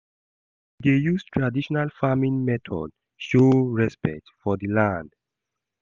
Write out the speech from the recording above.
We dey use traditional farming method show respect for di land.